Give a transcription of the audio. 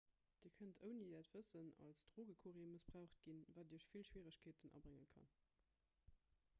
dir kënnt ouni äert wëssen als drogecourrier mëssbraucht ginn wat iech vill schwieregkeeten abrénge kann